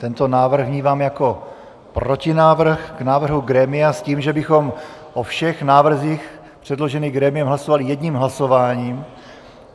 Tento návrh vnímám jako protinávrh k návrhu grémia s tím, že bychom o všech návrzích předložených grémiem hlasovali jedním hlasováním.